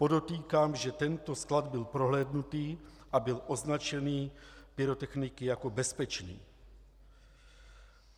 Podotýkám, že tento sklad byl prohlédnut a byl označen pyrotechniky jako bezpečný.